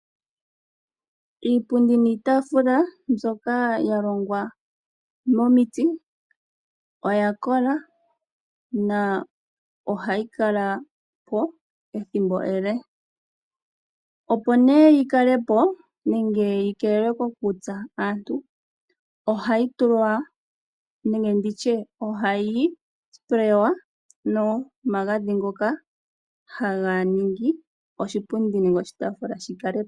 Iipundi niitafula mbyoka ya longwa momiti oya kola nohayi kala po ethimbo ele. Opo nduno yi kale po nenge yi keelelwe kokutsa aantu ohayi tsininwa nopainda ndjoka hayi ningi oshipundi nenge oshitaafula shi kale po.